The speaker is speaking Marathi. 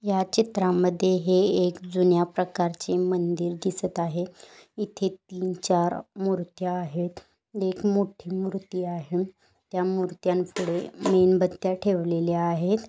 ह्या चित्रामध्ये है एक जुन्या प्रकारचे मंदिर दिसत आहे इथे तीन चार मुर्त्या आहेत एक मोठी मूर्ति आहे. त्या मूर्त्यांनपुढे मेनबत्त्या ठेवलेल्या आहेत.